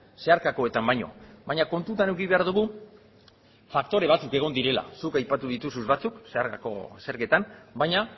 zeharkakoetan baino baina kontutan eduki behar dugu faktore batzuk egon direla zuk aipatu dituzu batzuk zeharkako zergetan baina